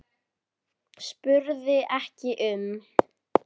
spurði ekki um